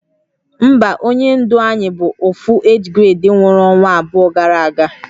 Mba, onye ndu Ayi bu Ofu age grade nwuru onwa abuo gara aga